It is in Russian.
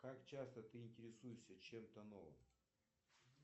как часто ты интересуешься чем то новым